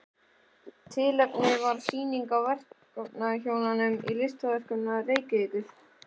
Tilefnið var sýning á verkum hjónanna í Listasafni Reykjavíkur.